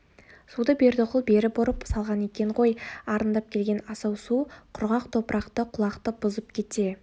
суды бердіқұл бері бұрып салған екен ғой арындап келген асау су құрғақ топырақты құлақты бұзып кете